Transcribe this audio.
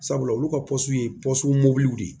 Sabula olu ka ye mɔbiliw de ye